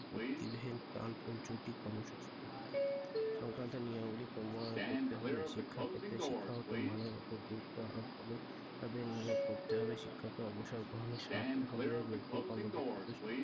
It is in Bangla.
কর্মসূচি সংক্রান্ত নিয়মাবলী প্রণয়ন করতে হবে শিক্ষা ক্ষেত্রে শিক্ষাগত মানের ওপর গুরুত্ব আরোপ করে তাদের নিয়োগ করতে হবে শিক্ষাকে অবসর গ্রহণের যোগ্য ও কর্মদক্ষতার